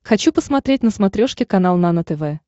хочу посмотреть на смотрешке канал нано тв